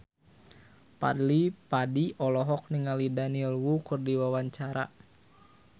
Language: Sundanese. Fadly Padi olohok ningali Daniel Wu keur diwawancara